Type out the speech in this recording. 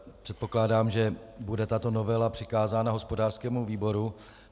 Předpokládám, že bude tato novela přikázána hospodářskému výboru.